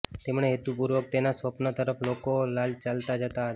તેમણે હેતુપૂર્વક તેના સ્વપ્ન તરફ લોકો ચાલતા જતા હતા